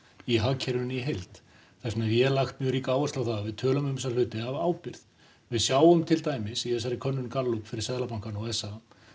í hagkerfinu í heild þess vegna hef ég lagt mjög ríka áherslu á það að við tölum um þessa hluti af ábyrgð við sjáum til dæmis í þessari könnun Gallup fyrir Seðlabankann og s a